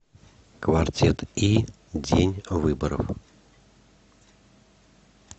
квартет и день выборов